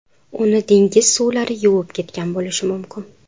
Uni dengiz suvlari yuvib ketgan bo‘lishi mumkin.